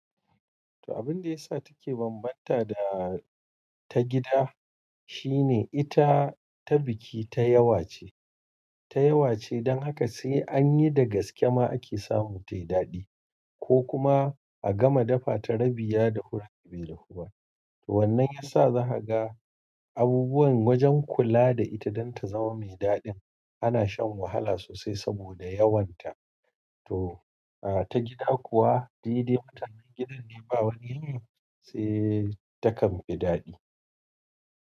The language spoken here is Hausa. To abun da yasa take banbanta da ta gida shine ita ta biki ta yawa ce, ta yawa ce don haka sai an yi da gaskema ake samu tayi daɗi ko kuma a gama dafa ta rabi ya dahu rabi bai dahu ba. To wannan ya sa zaha ga abubuwan wajen kula da ita don ta zama mai daɗin ana shan wahala sosai saboda yawanta. To, a ta gida kuwa, daidai mutanen gidan ne ba wani, sai takan fi daɗi.